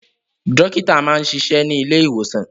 Dọ́kítá máa ń ṣiṣẹ́ ní ilé-ìwòsàn.